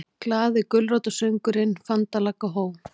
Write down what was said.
GLAÐI GULRÓTARSÖNGURINNFANDALAGGAHOJ